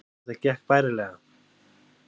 Þetta gekk bærilega